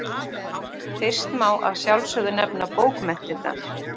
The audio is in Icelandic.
Fyrst má að sjálfsögðu nefna bókmenntirnar.